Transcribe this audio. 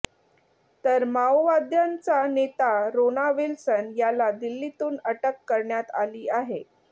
तर माओवाद्यांचा नेता रोना विल्सन याला दिल्लीतून अटक करण्यात आली आहे